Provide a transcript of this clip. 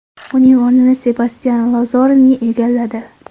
Uning o‘rnini Sebastyan Lazaroni egalladi.